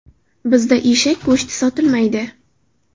Bizda eshak go‘shti sotilmaydi.